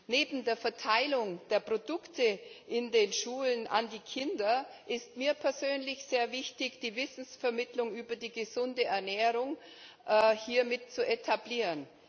Neben der Verteilung der Produkte in den Schulen an die Kinder ist mir persönlich sehr wichtig, die Wissensvermittlung über die gesunde Ernährung hier mit zu etablieren.